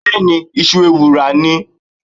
Bẹ́ẹ̀ni, ìṣù ewùrà ni.